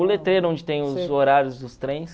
O letreiro, onde tem os horários dos trens.